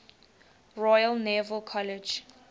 royal naval college